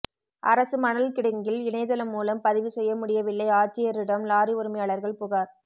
அரசு மணல் கிடங்கில் இணையதளம் மூலம் பதிவு செய்ய முடியவில்லைஆட்சியரிடம் லாரி உரிமையாளா்கள் புகாா்